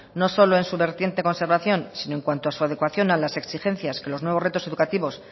no solo en su vertiente conservación sino en cuanto a su adecuación a las exigencias que los nuevos retos educativos